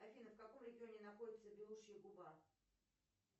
афина в каком регионе находится белушья губа